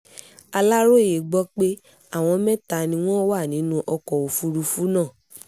aláròye gbọ́ pé àwọn mẹ́ta ni wọ́n wà nínú ọkọ̀ òfúrufú náà